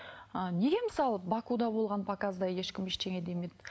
ы неге мысалы бакуда болған показда ешкім ештеңе демеді